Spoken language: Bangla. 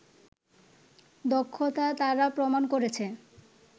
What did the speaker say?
দক্ষতা তারা প্রমাণ করেছে